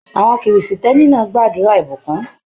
Àwọn kìrìsìtẹ́ẹ̀nì náà gbàdúrà ìbùkún.